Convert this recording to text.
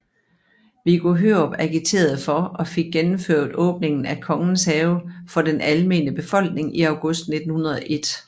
Viggo Hørup agiterede for og fik gennemført åbningen af Kongens Have for den almene befolkning i august 1901